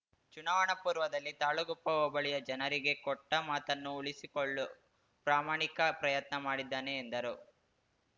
ಚುನಾವಣಾ ಪೂರ್ವದಲ್ಲಿ ತಾಳಗುಪ್ಪ ಹೋಬಳಿಯ ಜನರಿಗೆ ಕೊಟ್ಟಮಾತನ್ನು ಉಳಿಸಿಕೊಳ್ಳು ಪ್ರಾಮಾಣಿಕ ಪ್ರಯತ್ನ ಮಾಡಿದ್ದಾನೆ ಎಂದರು